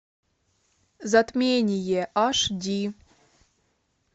затмение аш ди